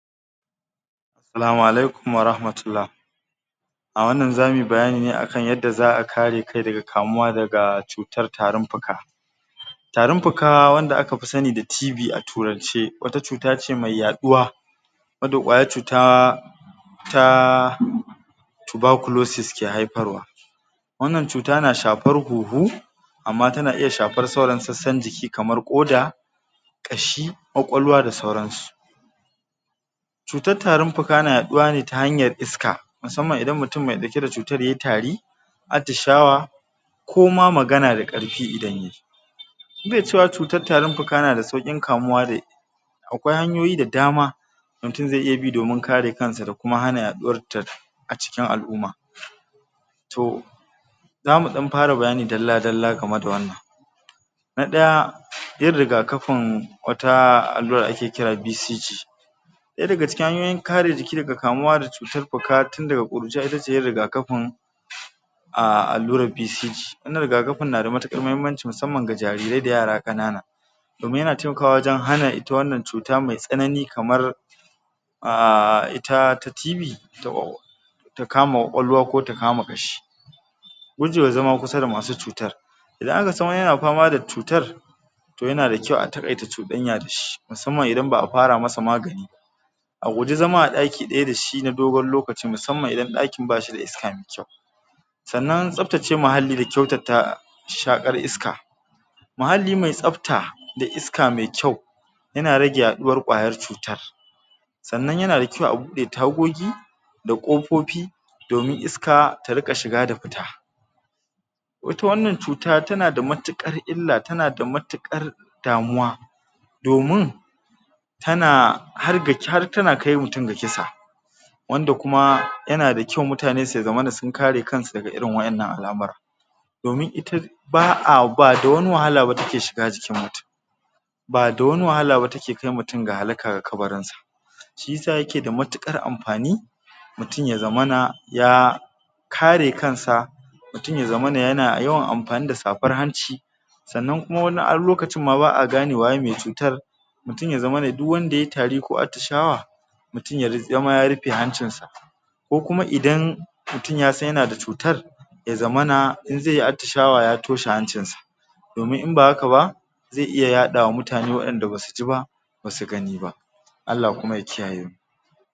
Salamu alaikum wa rahmatullah. A wannan zamu yi bayani ne akan yadda za a kare kai daga kamuwa daga cutar tarin puka, tarin puka wanda aka fi sani da TB a turance, wata cuta ce mai yaɗuwa wadda ƙwayar cuta ta ke haifarwa. Wannan cuta na shafar huhu amma tana iya shafar sauran sassan jiki kamar ƙoda, ƙashi, ƙwaƙwalwa da dai sauransu. Cutar tarin puka tana yaɗuwa ne ta hanyar iska musamman idan mutum mai ɗauke da cutar yayi tari, atishawa ko ma magana da ƙarfi. Idan yayi be cewa, cutar tarin puka na da sauƙin kamuwa da. Akwai hanyoyi da dama mutum ze iya bi domin kare kansa da kuma hana yaɗuwar a cikin al’umma. To zamu ɗan fara bayani dalla-dalla game da wannan. Na ɗaya yin rigakafin, wata allura da ake kira BCG. Ɗaya daga cikin hanyoyin kare jiki daga kamuwa da cutar puka tun daga ƙuruciya itace yin rigakafin um allurar BCG. Wannan rigakafin na da matuƙar mahimmanci musamman ga jarirai da yara ƙanana domin yana taimakawa wajen hana ita wannan cuta mai tsanani kamar um ita ta TB um ta kama ƙwaƙwalwa ko ta kama ƙashi. Gujewa zama kusa da masu cutar: idan aka san wani yana fama da cutar to yana da kyau a taƙaita cuɗanya da shi musamman idan ba a fara masa magani ba. A guji zama a ɗaki ɗaya da shi na dogon lokaci musamman idan ɗakin ba shi da iska. Sannan tsabtace muhalli da kyautata shakar iska. Muhalli mai tsabta da iska mai kyau yana rage yaɗuwar ƙwayar cutar. Sannan yana da kyau a buɗe tagogi da ƙofofi domin iska ta riƙa shiga da fita. Ita wannan cuta tana da matuƙar illa, tana da matuƙar damuwa domin tana har ga har tana kai mutum ga kisa. Wanda kuma yana da kyau mutane su zamana sun kare kansu daga irin waƴannan al’amura domin ita ba da wani wahala ba take shiga jikin, ba da wani wahala ba take kai mutum ga halaka ga kabarinsa. Shisa yake da matuƙar amfani mutum ya zamana ya kare kansa, mutum ya zamana yana yawan amfani da shafar hanci. Sannan kuma wani lokacin ma ba a gane waye mai cutar. Mutum ya zamana duk wanda yayi tari ko atishawa mutum ya zama ya rufe hancinsa ko kuma idan mutum ya san yana da cutar ya zamana in ze yi atishawa ya toshe hancinsa domin in ba haka ba ze iya yaɗa wa mutane waƴanda basu ji ba basu gani ba. Allah kuma ya kiyaye mu.